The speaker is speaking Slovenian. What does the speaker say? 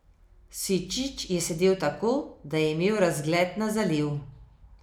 Sičič je sedel tako, da je imel razgled na zaliv.